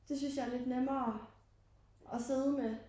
Det synes jeg er lidt nemmere og sidde med